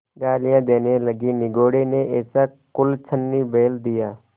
गालियाँ देने लगीनिगोडे़ ने ऐसा कुलच्छनी बैल दिया